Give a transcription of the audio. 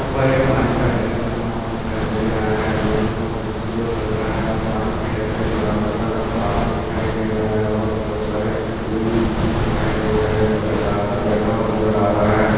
ऊपर एक पानी का डेम बना हुआ दिखाई दे रहा है जो की बहुत हि खूबसूरत लग रहा है और पानी की डेम की दिवारो का रंग काला दिखाई दे रहा है और बहुत सारे पूल दिखाई दे रहे है और एक आदमी बैठा हुआ नज़र आ रहा है।